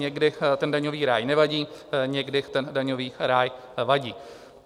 Někdy ten daňový ráj nevadí, někdy ten daňový ráj vadí.